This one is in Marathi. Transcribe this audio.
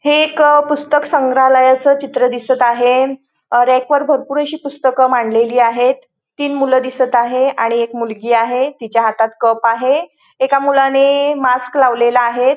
हे एक पुस्तक संग्रहालयाच चित्र दिसत आहे रॅकवर भरपूर अशी पुस्तकं मांडलेली आहेत तीन मुलं दिसत आहे आणि एक मुलगी आहे तिच्या हातात कप आहे एका मुलाने मास्क लावलेला आहेत.